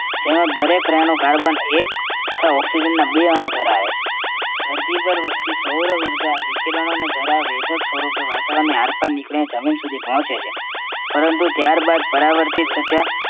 તેમાં દરેક અણુ carbon એક oxygen ના બે અણુ ધરાવે છે. ધરતી પર વસતી સૌરઉર્જા વિકિરણોને જરા વેધક સ્વરૂપે વાતાવરણની આરપાર નીકળીને જમીન સુધી પહોંચે છે પરંતુ ત્યારબાદ પરાવર્તિત થતી આ